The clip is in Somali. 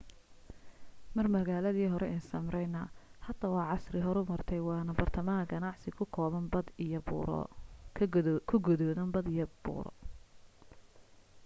mar magaaladii hore ee smyrna hada waa casri horumartay waana bartahama ganacsi ku gadoodan bad iyo buuro